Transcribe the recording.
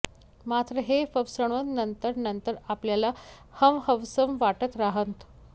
मात्र हे फसवणं नंतर नंतर आपल्याला हवंहवसं वाटत राहतं